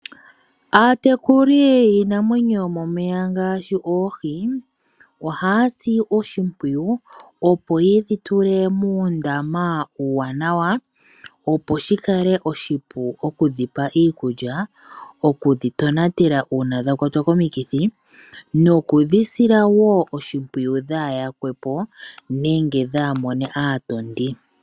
Aatekuli yiinamwenyo yo momeya ngaashi oohi, ohaasi oshimpwiyu opo ye dhi tule muundama uuwanawa, opo shikale oshipu okudhipa iikulya, okudhi tonatela uuna dha kwatwa komikithi, noku dhisila woo oshimpwiyu dha yakwepo nenge dha mone aatondi.